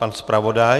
Pan zpravodaj.